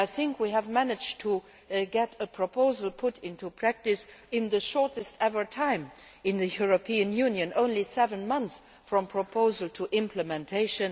I think we have managed to get a proposal put into practice in the shortest ever time in the European Union only seven months from proposal to implementation.